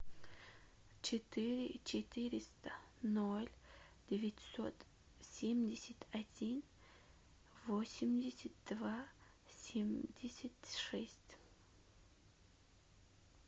четыре четыреста ноль девятьсот семьдесят один восемьдесят два семьдесят шесть